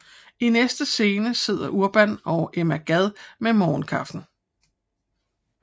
I næste scene sidder Urban og Emma Gad med morgenkaffen